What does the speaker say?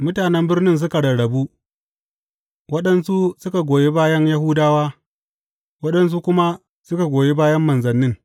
Mutanen birnin suka rarrabu, waɗansu suka goyi bayan Yahudawa, waɗansu kuma suka goyi bayan manzannin.